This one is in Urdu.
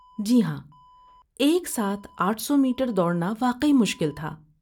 جی ہاں، ایک ساتھ آٹھ سو میٹر دوڑنا واقعی مشکل تھا